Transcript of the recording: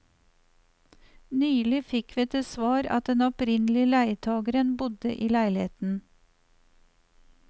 Nylig fikk vi til svar at den opprinnelige leietageren bodde i leiligheten.